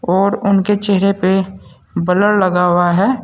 और उनके चेहरे पे ब्लर लगा हुआ है।